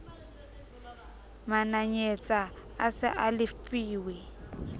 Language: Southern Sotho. mananyetsa a se a lefuwe